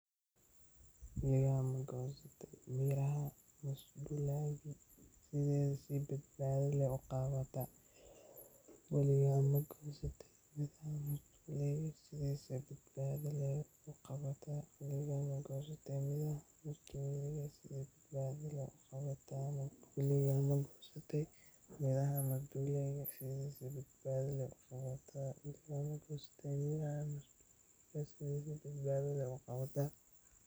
Haddii aad goosanayso midhaha masduulaaga, waa muhiim inaad taxaddar badan muujiso si aad naftaada uga ilaaliso waxyeellooyinka halista ah ee ay keeni karaan sunta masduulaaga. Marka hore, isticmaal gacmo-gashi adag oo ka ilaalinaya gacmahaaga waxyeelada. Ka fogow inaad si toos ah u taabato midhaha, maadaama qolofta iyo caleemaha masduulaaga ay leeyihiin sun xoog leh oo maqaarka ku gubi karta.